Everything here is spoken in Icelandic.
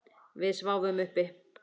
Við sváfum uppi.